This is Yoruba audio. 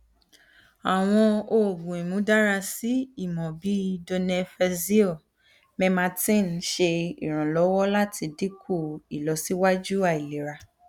awọn oogun imudarasi imọ bii donepezil memantin ṣe iranlọwọ lati dinku ilọsiwaju ailera